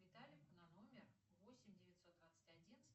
виталику на номер восемь девятьсот двадцать один